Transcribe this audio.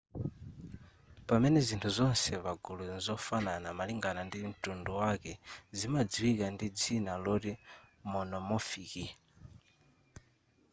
pamene zinthu zonse pagulu mzofanana malingana ndi mtundu wake zimadziwika ndi dzina loti monomorphic